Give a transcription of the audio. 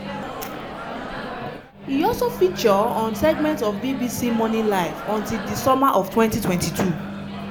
e also feature on segments of bbc morning live until di summer of 2022.